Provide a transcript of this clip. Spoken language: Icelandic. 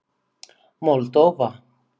Moldóva